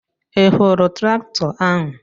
Ị hụrụ traktọ ahụ?